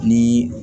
Ni